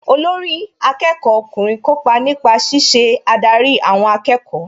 Olórí akẹ́kọ̀ọ́ ọkùnrin kópa nípa ṣíṣe adarí àwọn akẹ́kọ̀ọ́